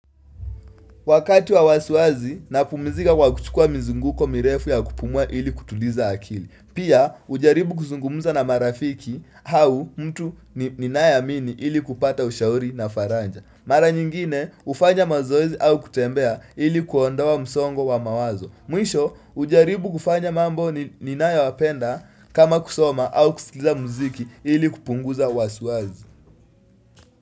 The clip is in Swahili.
Wakati wa wasuazi na pumizika kwa kuchukua mizunguko mirefu ya kupumua ili kutuliza akili. Pia ujaribu kuzungumuza na marafiki hau mtu ni naye amini ili kupata ushauri na faranja. Mara nyingine ufanya mazoezi au kutembea ili kuondoa msongo wa mawazo. Mwisho ujaribu kufanya mambo ni nayo wapenda kama kusoma au kusiliza muziki ili kupunguza wasuazi.